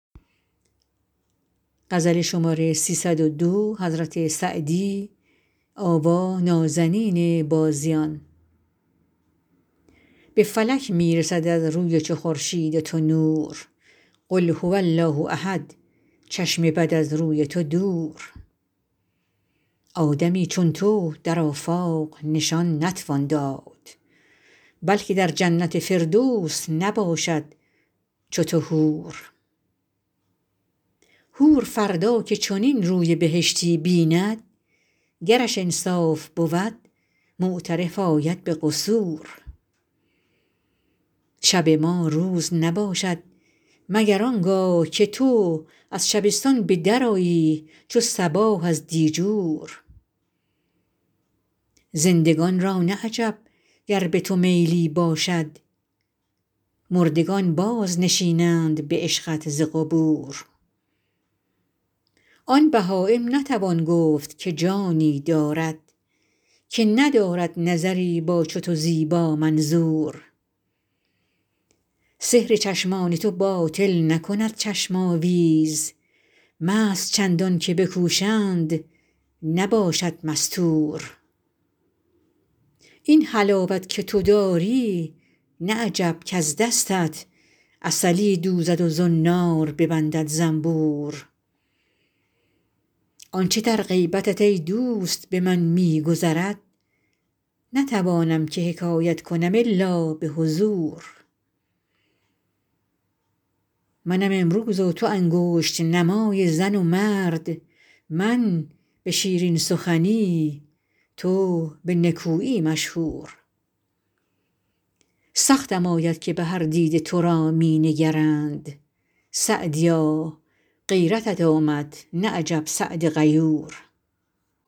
به فلک می رسد از روی چو خورشید تو نور قل هو الله احد چشم بد از روی تو دور آدمی چون تو در آفاق نشان نتوان داد بلکه در جنت فردوس نباشد چو تو حور حور فردا که چنین روی بهشتی بیند گرش انصاف بود معترف آید به قصور شب ما روز نباشد مگر آن گاه که تو از شبستان به درآیی چو صباح از دیجور زندگان را نه عجب گر به تو میلی باشد مردگان بازنشینند به عشقت ز قبور آن بهایم نتوان گفت که جانی دارد که ندارد نظری با چو تو زیبامنظور سحر چشمان تو باطل نکند چشم آویز مست چندان که بکوشند نباشد مستور این حلاوت که تو داری نه عجب کز دستت عسلی دوزد و زنار ببندد زنبور آن چه در غیبتت ای دوست به من می گذرد نتوانم که حکایت کنم الا به حضور منم امروز و تو انگشت نمای زن و مرد من به شیرین سخنی تو به نکویی مشهور سختم آید که به هر دیده تو را می نگرند سعدیا غیرتت آمد نه عجب سعد غیور